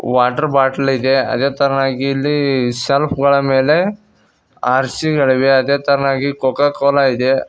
Water bottle ಇದೆ ಅದೇ ತರನಾಗಿ ಇಲ್ಲಿ ಸೆಲ್ಫ್ ಗಳ ಮೇಲೆ ಆರ್ ಸಿ ಗಳಿವೆ ಅದೇ ತರನಾಗಿ ಕೋಕೋ ಕೋಲಾ ಇದೆ.